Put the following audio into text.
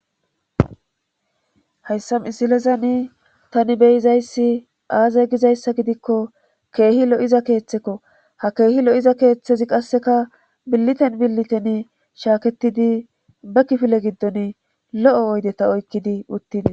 Hayssam isilezani tani beyizayssi aaza gizayssa gidikko keehi lo7iza keeththekko ha keehi lo7iza keeththezi qasseka billiten billiten shaaketidi be kifile giddon lo7o oydeta oykkidi uttide.